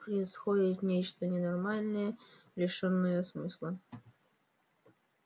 происходит нечто ненормальное лишённое смысла